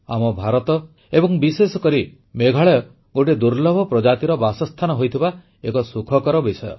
ଆମ ଭାରତ ଏବଂ ବିଶେଷକରି ମେଘାଳୟ ଗୋଟିଏ ଦୁର୍ଲ୍ଲଭ ପ୍ରଜାତିର ବାସସ୍ଥାନ ହୋଇଥିବା ଏକ ସୁଖକର ବିଷୟ